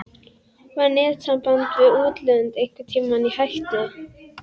Var netsamband við útlönd einhvern tímann í hættu?